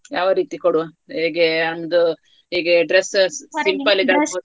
ಯಾವರೀತಿ ಕೊಡುವ ಹೇಗೆ ಒಂದು ಹೀಗೆ simple .